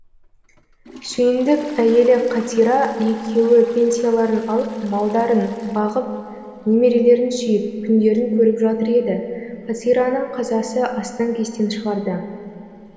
сүйіндік әйелі қатира екеуі пенсияларын алып малдарын бағып немерелерін сүйіп күндерін көріп жатыр еді қатираның қазасы астан кестен шығарды